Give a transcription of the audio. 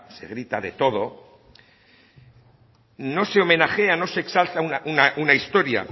se grita de todo no se homenajea no se exalta una historia